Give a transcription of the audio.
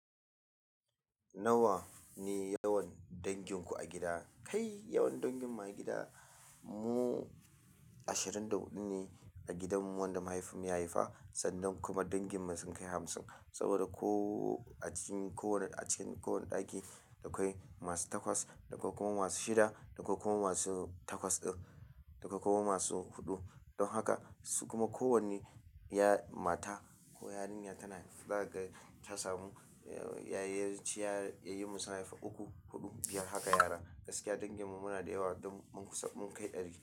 Nawa ne yawan danginku a gida? Kai yawan danginmu a gida mu ashirin da huɗu ne a gidanmu wanda mahaifinmu ya haifa, sannan kuma danginmu sun kai hamsin. Saboda ko a cikin kowane a cikin kowane ɗaki, da akwai masu takwas, da akwai kuma masu shida, da akwai kuma masu takwas din, da akwai kuma masu huɗu don haka su kuma kowane ya mata ko yarinya tana za ka ga ta samu yayyaci ya yayyi mun sun haifi uku, huɗu, biyar haka yara. Gaskiya danginmu muna da yawa don mun kusa mun kai ɗari.